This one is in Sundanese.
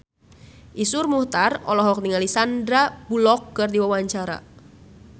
Iszur Muchtar olohok ningali Sandar Bullock keur diwawancara